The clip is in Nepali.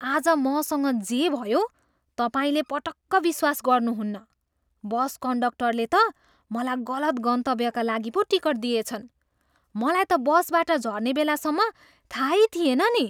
आज मसँग जे भयो, तपाईँले पटक्क विश्वास गर्नुहुन्न! बस कन्डक्टरले त मलाई गलत गन्तव्यका लागि पो टिकट दिएछन्। मलाई त बसबाट झर्ने बेलासम्म थाहै थिएन नि!